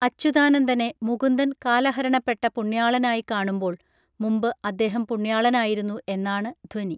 അച്യുതാനന്ദനെ മുകുന്ദൻ കാലഹരണപ്പെട്ട പുണ്യാളനായി കാണുമ്പോൾ മുമ്പ് അദ്ദേഹം പുണ്യാളനായിരുന്നു എന്നാണ് ധ്വനി